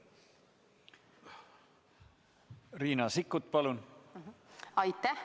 Riina Sikkut, palun!